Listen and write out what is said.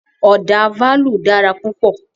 Ọ̀dà fálù dára púpọ̀.